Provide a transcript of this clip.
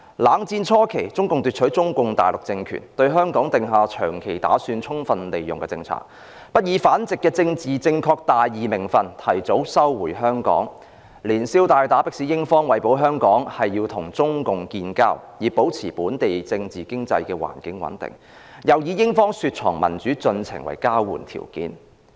冷戰初期，中共奪取中共大陸政權，對香港訂下"長期打算，充分利用"的政策，不以反殖的"政治正確大義名份"提早收回香港，連消帶打迫使英方為保香港，要與中共建交，以保持本港政治、經濟環境穩定，又以英方雪藏民主進程為交換條件。